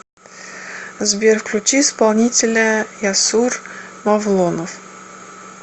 сбер включи исполнителя ясур мавлонов